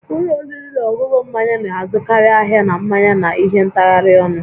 Ụlọ oriri na ọṅụṅụ mmanya na-azụkarị ahịa na mmanya na ihe ntagharị ọnụ